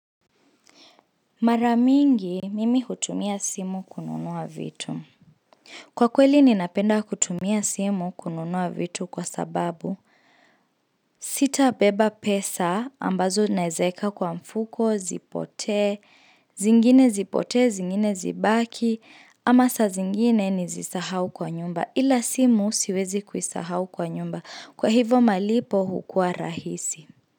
Mara mingi mimi hutumia simu kununua vitu. Kwa kweli ninapenda kutumia simu kununua vitu kwa sababu sitabeba pesa ambazo naezeka kwa mfuko, zipotee, zingine zipotee, zingine zibaki ama saa zingine nizisahau kwa nyumba ila simu siwezi kuisahau kwa nyumba kwa hivo malipo hukua rahisi.